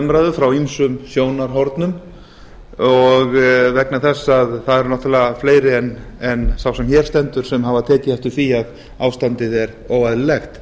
umræðu frá ýmsum sjónarhornum og líka vegna þess það eru náttúrlega fleiri en sá sem hér stendur sem hafa tekið eftir því að ástandið er óvenjulegt